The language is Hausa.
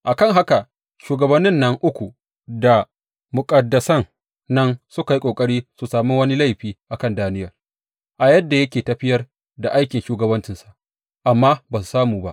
A kan haka, shugabannin nan uku da muƙaddasan nan suka yi ƙoƙari su sami wani laifi a kan Daniyel a yadda yake tafiyar da aikin shugabancinsa, amma ba su samu ba.